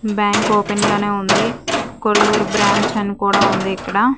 Bank open లోనే ఉంది Kolluri branch అని కూడా ఉంది ఇక్కడ.